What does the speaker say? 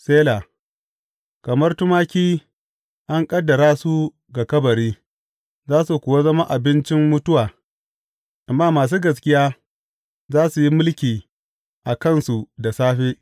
Sela Kamar tumaki an ƙaddara su ga kabari; za su kuwa zama abincin mutuwa amma masu gaskiya za su yi mulki a kansu da safe.